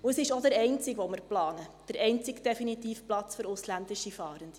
Und es ist auch der einzige, den wir planen: der einzige definitive Platz für ausländische Fahrende.